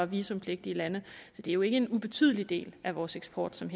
visumpligtige lande så det er jo ikke en ubetydelig del af vores eksport som